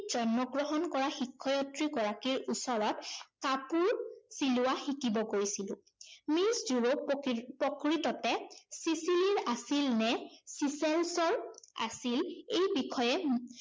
জন্মগ্ৰহণ কৰা শিক্ষয়িত্ৰী গৰাকীৰ ওচৰত কাপোৰ চিলোৱা শিকিব গৈছিলো। মিছ ড্য়ুৰপ প্ৰকৃত প্ৰকৃততে ছিছিলিৰ আছিল নে চিছেলছৰ আছিল এই বিষয়ে